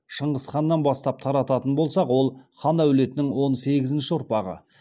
шыңғыс ханнан бастап тарататын болсақ ол хан әулетінің он сегізінші ұрпағы